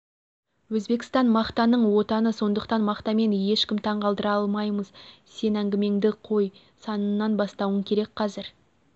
өзбекстан мақтаның отаны сондықтан мақтамен ешкімді таң қалдыра алмаймыз сен әңгімеңді қой санынан бастауың керек қазір